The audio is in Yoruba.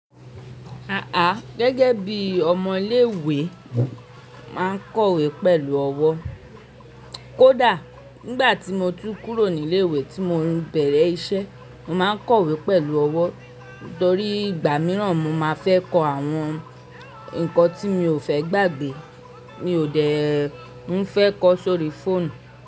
Àà, gẹ́gẹ́ bí ọmọ ilé ìwé máa ń kọ̀wé pẹ̀lú ọwọ́. Kódà nígbà tí mo tú kúrò ní ilé ìwé tí mo ń bẹ̀rẹ̀ iṣẹ́, màá ń kọ̀wé pẹ̀lú ọwọ́ torí ìgbà mìíràn mo máa fẹ́ kọ àwọn ǹkan tí mi ò fẹ́ gbàgbé. Mi ò dè tí ń fẹ́ kọ sórí fóònù.